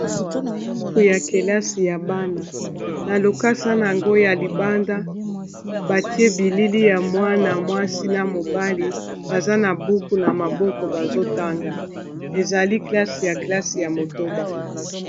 Buku ya kelasi ya bana na lokasa na yango ya libanda batie bilili ya mwana mwasi na mobali baza na buku na maboko bazotanga ezali kelasi ya kelasi ya motoba.